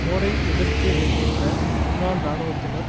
போரை எதிர்த்து நிற்கின்ற முன்னாள் இராணுவத்தினர்